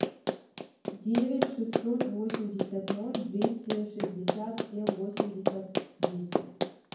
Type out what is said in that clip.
девять шестьсот восемьдесят ноль двести шестьдесят семь восемьдесят десять